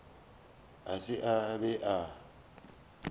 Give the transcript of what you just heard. a se a be a